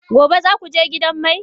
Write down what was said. Gobe ​​za ku je gidan mai?